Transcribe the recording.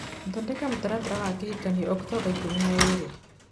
thondeka mũtaratara wa kĩhikanio Oktomba ikũmi na ĩĩrĩ